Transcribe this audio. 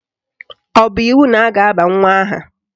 Ọ bụ iwu na a ga-aba nwa aha?